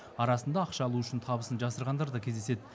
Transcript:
арасында ақша алу үшін табысын жасырғандар да кездеседі